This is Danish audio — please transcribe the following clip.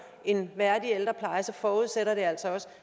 en værdig ældrepleje forudsætter det altså også